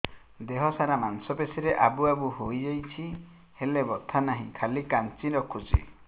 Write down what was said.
ଦେହ ସାରା ମାଂସ ପେଷି ରେ ଆବୁ ଆବୁ ହୋଇଯାଇଛି ହେଲେ ବଥା ନାହିଁ ଖାଲି କାଞ୍ଚି ରଖୁଛି